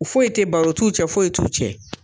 Foyi tɛ ye baro t'u cɛ foyi ye t'u cɛ.